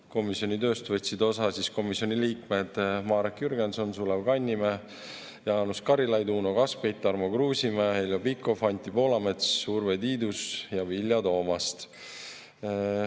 Komisjoni tööst võtsid osa komisjoni liikmed Marek Jürgenson, Sulev Kannimäe, Jaanus Karilaid, Uno Kaskpeit, Tarmo Kruusimäe, Heljo Pikhof, Anti Poolamets, Urve Tiidus ja Vilja Toomast.